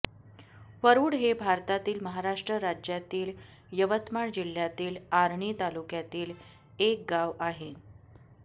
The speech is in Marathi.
वरूड हे भारतातील महाराष्ट्र राज्यातील यवतमाळ जिल्ह्यातील आर्णी तालुक्यातील एक गाव आहे